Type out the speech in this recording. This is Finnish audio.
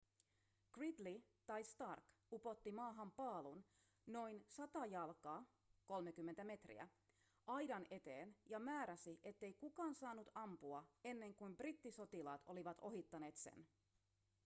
gridley tai stark upotti maahan paalun noin 100 jalkaa 30 metriä aidan eteen ja määräsi ettei kukaan saanut ampua ennen kuin brittisotilaat olivat ohittaneet sen